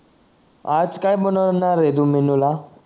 आज काय बनवणार आहे तू मेनूला